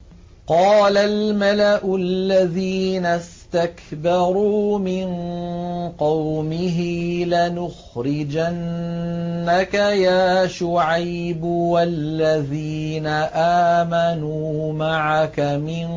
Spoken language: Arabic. ۞ قَالَ الْمَلَأُ الَّذِينَ اسْتَكْبَرُوا مِن قَوْمِهِ لَنُخْرِجَنَّكَ يَا شُعَيْبُ وَالَّذِينَ آمَنُوا مَعَكَ مِن